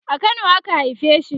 a Kano a ka haife shi